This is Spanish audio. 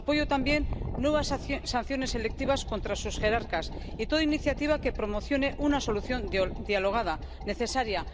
Apoyo también nuevas sanciones selectivas contra sus jerarcas y toda iniciativa que promocione una solución dialogada, necesaria.